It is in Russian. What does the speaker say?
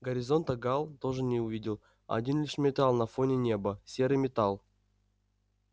горизонта гаал тоже не увидел один лишь металл на фоне неба серый металл